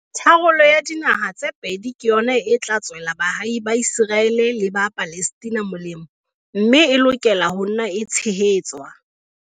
Tharollo ya dinaha tse pedi ke yona e tla tswela baahi ba Iseraele le ba Palestina molemo mme e lokela ho nna e tshehetswa.